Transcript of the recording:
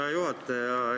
Hea juhataja!